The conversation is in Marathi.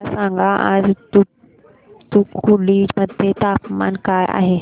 मला सांगा आज तूतुकुडी मध्ये तापमान काय आहे